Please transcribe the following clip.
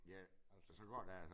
Ja og så går der